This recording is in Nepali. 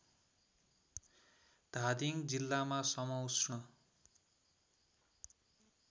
धादिङ जिल्लामा समउष्ण